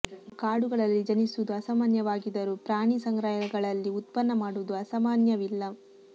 ಇವು ಕಾಡುಗಳಲ್ಲಿ ಜನಿಸುವುದು ಅಸಾಮಾನ್ಯವಾಗಿದರೂ ಪ್ರಾಣಿ ಸಂಗ್ರಾಲಯಗಲ್ಳಲ್ಲಿ ಉತ್ಪನ್ನ ಮಾಡುವುದು ಅಸಾಮಾನ್ಯವಿಲ್ಲ